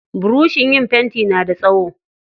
Burushin yin fenti na da tsawo.